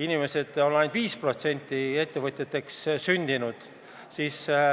inimestest on ainult 5% ettevõtjateks sündinud.